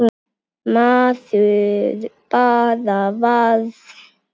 Maður bara varð